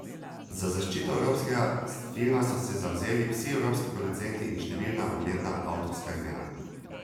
Za zaščito evropskega filma so se zavzeli vsi evropski producenti in številna ugledna avtorska imena.